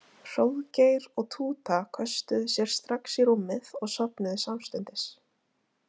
Hróðgeir og Túta köstuðu sér strax í rúmið og sofnuðu samstundis.